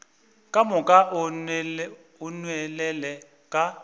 ka moka o nwelele ka